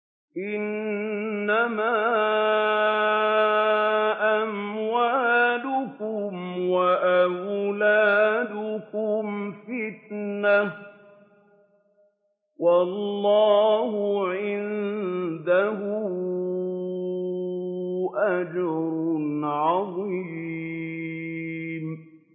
إِنَّمَا أَمْوَالُكُمْ وَأَوْلَادُكُمْ فِتْنَةٌ ۚ وَاللَّهُ عِندَهُ أَجْرٌ عَظِيمٌ